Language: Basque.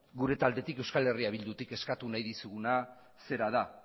gure taldetik euskal herria bildutik eskatu nahi dizuguna zera da